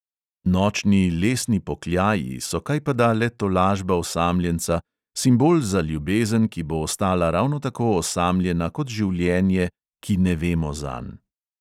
Nočni lesni pokljaji so kajpada le tolažba osamljenca, simbol za ljubezen, ki bo ostala ravno tako osamljena kot življenje, "ki ne vemo zanj".